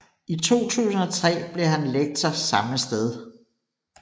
I 2003 blev han lektor samme sted